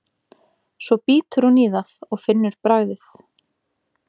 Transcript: Svo bítur hún í það og finnur bragðið.